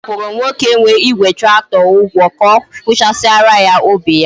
Nneka kwuru nwoke nwe Igwe tractor Ugwo ka okuchasiara ya ubi ya